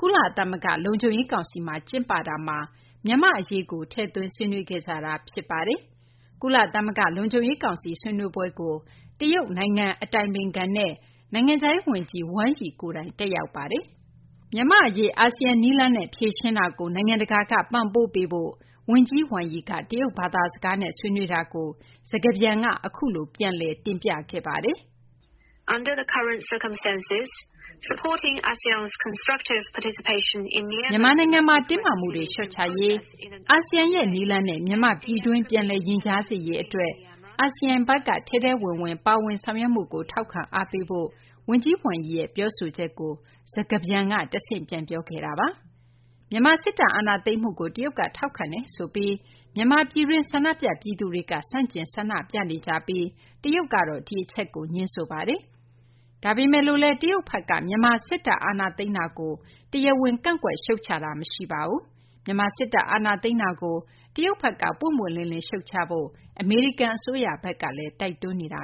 ကုလသမဂ္ဂ လုံခြုံရေး ကောင်စီမှာ ကျင်းပတာမှာ မြန်မာ့ အရေးကို ထည့်သွင်း ဆွေးနွေးခဲ့တာ ဖြစ်ပါတယ်။ ကုလသမဂ္ဂ လုံခြုံရေး ကောင်စီ ဆွေးနွေးပွဲကို တရုတ် နိုင်ငံ အတိုင်ပင်ခံနဲ့ နိုင်ငံခြားရေး ဝန်ကြီး Wang Yi ကိုယ်တိုင် တက်ရောက်ပါတယ်။ မြန်မာ့ အရေး အာဆီယံ နည်းလမ်းနဲ့ ဖြေရှင်းတာကို နိုင်ငံတကာက ပံ့ပိုးပေးဖို့ ဝန်ကြီး Wang Yi က တရုတ်ဘာသာစကားနဲ့ ဆွေးနွေးတာကို စကားပြန်က အခုလို ပြန်လည် တင်ပြခဲ့ပါတယ်။ “မြန်မာနိုင်ငံမှာ တင်းမာမှုတွေ လျော့ချရေး၊ အာဆီယံရဲ့ နည်းလမ်းနဲ့ မြန်မာ့ ပြည်တွင်း ပြန်လည် ရင်ကြားစေ့ရေး အတွက် အာဆီယံဘက်က ထဲထဲဝင် ပါဝင်ဆောင်ရွက်မှုကို ထောက်ခံ အားပေးဖို့” ဝန်ကြီး Wang Yi ရဲ့ ပြောဆိုချက်ကို စကားပြန်က တဆင့် ပြောခဲ့တာပါ။ မြန်မာ စစ်တပ် အာဏာသိမ်းမှုကို တရုတ်က ထောက်ခံနေတယ်ဆိုပြီး ဆန္ဒပြ ပြည်သူတွေက ဆန့်ကျင် ဆန္ဒပြနေပြီး တရုတ်ကတော့ ငြင်းဆိုပါတယ်။ ဒါပေမယ့်လည်း မြန်မာ့ စစ်တပ် အာဏာသိမ်းတာကိုတော့ တရားဝင် ကန့်ကွက် ရှုတ်ချတာ မရှိပါဘူး။ မြန်မာ စစ်တပ် အာဏာသိမ်းတာကို တရုတ်ဘက်က ပွင့်ပွင့်လင်းလင်း ရှုတ်ချဖို့ အမေရိကန် အစိုးရဘက်ကလည်း တိုက်တွန်းထားတာ